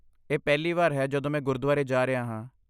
ਇਹ ਪਹਿਲੀ ਵਾਰ ਹੈ ਜਦੋਂ ਮੈਂ ਗੁਰਦੁਆਰੇ ਜਾ ਰਿਹਾ ਹਾਂ।